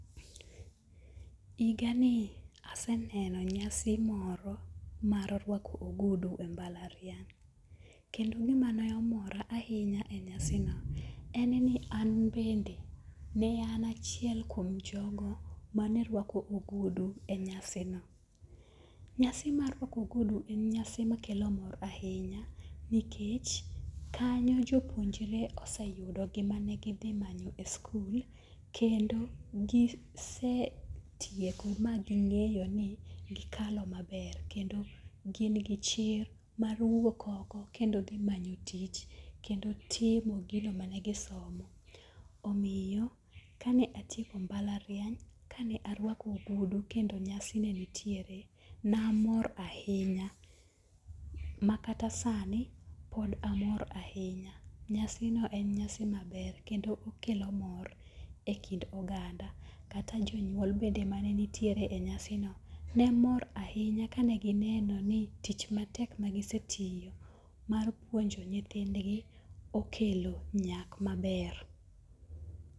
Higa ni aseneno nyasi moro mar ruako ogudu e mbalariany. Kendo gima ne omora ahinya e nyasi no, en ni an bende ne an achiel kuom jogo maneruako ogudu e nyasi no. Nyasi mar ruako ogudu en nyasi makelo mor ahinya nikech kanyo jopuonjre oseyudo gima ne gidhi manyo e skul kendo gisetieko ma ging'eyo ni gikalo maber. Kendo gin gi chir mar wuok oko kendo dhi manyo tich kendo timo gino mane gisomo. Omiyo, kane atieko mbalariany kane aruako ogudu kendo nyasi ne nitiere ne amor ahinya makata sani pod amor ahinya. Nyasi no en nyasi maber kendo okelo mor e kind oganda. Kata jonyuol bende mane nitiere e nyasi no nemor ahinya kane gineno ni tich matek magisetiyo mar puonjo nyithindgi okelo nyak maber.